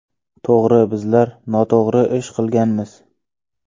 To‘g‘ri, bizlar noto‘g‘ri ish qilganmiz.